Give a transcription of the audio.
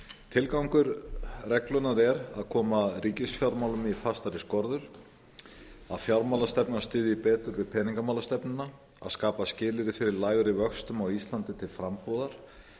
tilgangur reglunnar er að koma ríkisfjármálum í fastari skorður að fjármálastefnan styðji betur við peningamálastefnuna að skapa skilyrði fyrir lægri vöxtum á íslandi til frambúðar